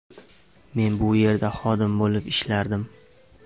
Men bu yerda xodim bo‘lib ishlardim.